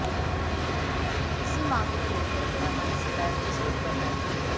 इसे मांग को लेकर मेरा मन सदैव विचलित रहता था